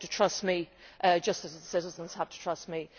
They have to trust me, just as the citizens have to trust me.